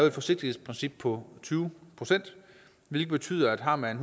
et forsigtighedsprincip på tyve procent det betyder at har man